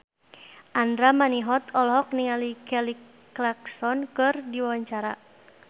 Andra Manihot olohok ningali Kelly Clarkson keur diwawancara